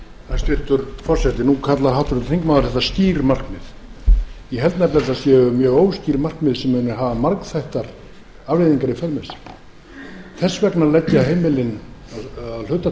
hæstvirtur forseti nú kallar háttvirtur þingmaður þetta skýr markmið ég held nefnilega að þetta séu mjög óskýr markmið sem muni hafa margþættar afleiðingar í för með sér og þess vegna leggja heimilin að hluta